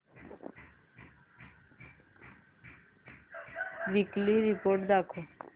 weekly report दाखव